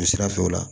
Sira fɛ o la